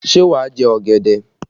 Ṣé wà á jẹ ọ̀gẹ̀dẹ̀?